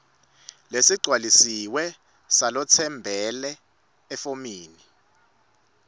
lesigcwalisiwe salotsembele efomini